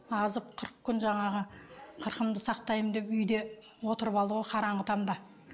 азып қырық күн жаңағы қырқымды сақтаймын деп үйде отырып алды ғой қараңғы тамда